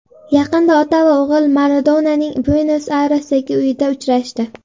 Yaqinda ota va o‘g‘il Maradonaning Buenos-Ayresdagi uyida uchrashdi.